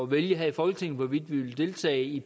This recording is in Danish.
vælge her i folketinget hvorvidt vi vil deltage i